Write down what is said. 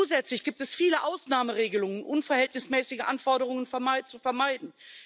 Zusätzlich gibt es viele Ausnahmeregelungen, um unverhältnismäßige Anforderungen zu vermeiden.